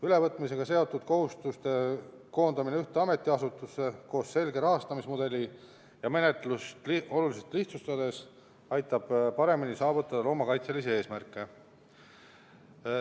Ülevõtmisega seotud kohustuste koondamine ühte ametiasutusse koos selge rahastamismudeliga ja menetluse olulise lihtsustamisega aitab paremini saavutada loomakaitselisi eesmärke.